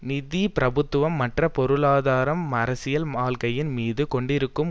நிதி பிரபுத்துவம் மற்ற பொருளாதார அரசியல் வாழ்க்கையின் மீது கொண்டிருக்கும்